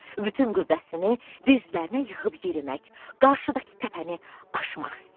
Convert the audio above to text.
Bütün qüvvəsini dizlərinə yığıb yerimək, qarşıdakı təpəni aşmaq istəyirdi.